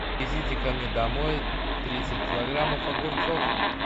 везите ко мне домой тридцать килограммов огурцов